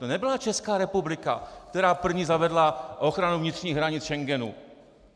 To nebyla Česká republika, která první zavedla ochranu vnitřních hranic Schengenu.